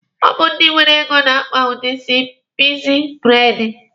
Ọ bụ ndị nwere ego na-akpa udi isi pikzi braidi.